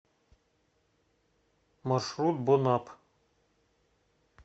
маршрут бонап